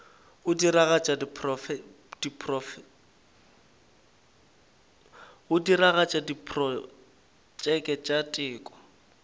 go diragatša diprotšeke tša teko